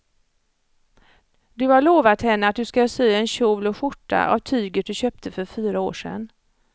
Du har lovat henne att du ska sy en kjol och skjorta av tyget du köpte för fyra år sedan.